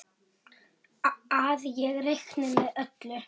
Að ég reikni með öllu.